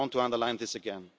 I want to underline this